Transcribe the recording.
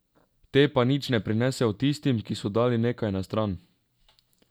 Te pa nič ne prinesejo tistim, ki so dali nekaj na stran.